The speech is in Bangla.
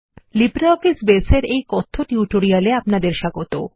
লিব্রিঅফিস বাসে এর এইকথ্য টিউটোরিয়াল এ আপনাদের স্বাগত